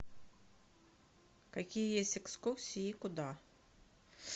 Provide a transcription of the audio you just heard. какие есть экскурсии и куда